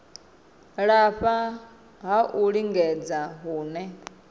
lafha ha u lingedza hune